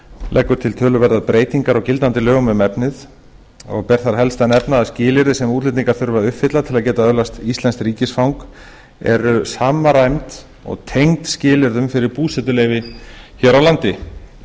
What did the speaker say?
leggur til töluverðar breytingar á gildandi lögum um efnið og ber þar helst að nefna að skilyrði sem útlendingar þurfa að uppfylla til að geta öðlast íslenskt ríkisfang eru samræmd og tengd skilyrðum fyrir búsetuleyfi hér á landi